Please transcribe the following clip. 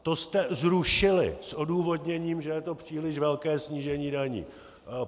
To jste zrušili s odůvodněním, že je to příliš velké snížení daní.